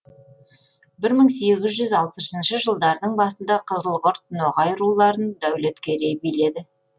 бір мың сегіз жүз алпысыншы жылдардың басында қызылқұрт ноғай руларын дәулеткерей биледі